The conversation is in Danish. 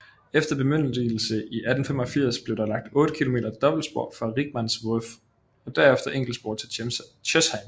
Efter bemyndigelse i 1885 blev der lagt 8 km dobbeltspor fra Rickmansworth og derefter enkeltspor til Chesham